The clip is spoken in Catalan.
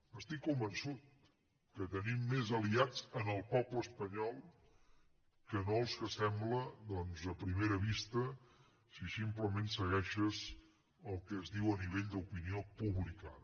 n’estic convençut que tenim més aliats en el poble espanyol que no els que sembla a primera vista si simplement segueixes el que es diu a nivell d’opinió publicada